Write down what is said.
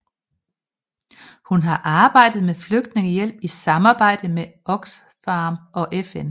Hun har arbejdet med flygtningehjælp i samarbejde med Oxfam og FN